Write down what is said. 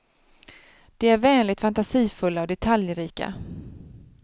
De är vänligt fantasifulla och detaljrika.